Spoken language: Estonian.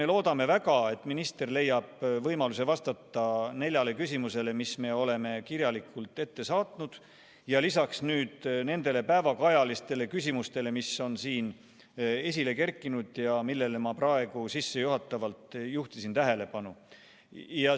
Me loodame väga, et minister leiab võimaluse vastata neljale küsimusele, mis me oleme kirjalikult ette saatnud, ja lisaks nendele päevakajalistele küsimustele, mis on siin esile kerkinud ja millele ma praegu sissejuhatuses tähelepanu juhtisin.